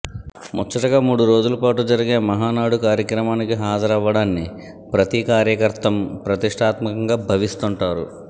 ముచ్చటగా మూడు రోజుల పాటు జరిగే మహానాడు కార్యక్రమానికి హాజరవ్వడాన్ని ప్రతి కార్యకర్తం ప్రతిష్టాత్మకంగా భవిస్తుంటారు